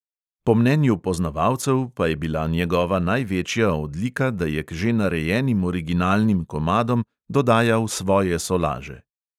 Po mnenju poznavalcev pa je bila njegova največja odlika, da je k že narejenim originalnim komadom dodajal svoje solaže.